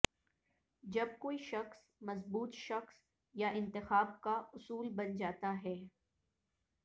جب کوئی شخص مضبوط شخص یا انتخاب کا اصول بن جاتا ہے